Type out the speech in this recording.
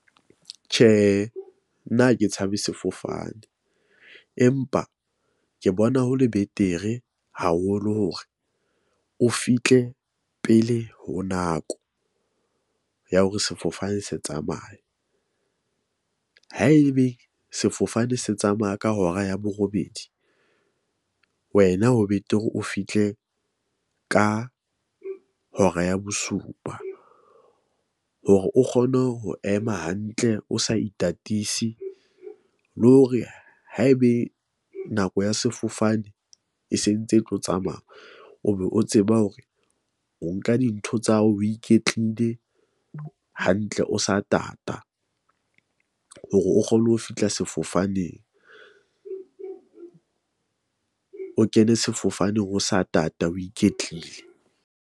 Tjhe, nna ha ke tshabe sefofane, empa ke bona ho le betere haholo hore o fihle pele ho nako ya hore sefofane se tsamaya. Haebe sefofane se tsamaya ka hora ya borobedi, wena ho betere o fihle ka hora ya bosupa. Hore o kgone ho ema hantle, o sa itatisi le hore haebe nako ya sefofane e sentse e tlo tsamaya, o be o tseba hore o nka dintho tsa hao, o iketlile hantle, o sa tata. Hore o kgone ho fihla sefofaneng . O kene sefofaneng o sa tata, o iketlile.